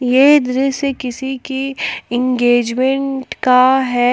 ये दृश्य किसी की इंगेजमेंट का है।